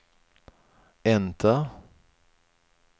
enter